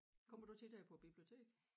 Kommer du tit her på æ bibliotek?